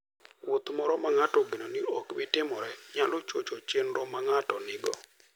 Wuoth moro ma ng'ato ogeno ni ok bi timore, nyalo chocho chenro ma ng'ato nigo.